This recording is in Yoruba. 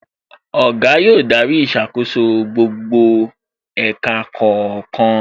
Oga yóò darí ìṣàkóso gbogbo ẹ̀ka kọ̀ọ̀kan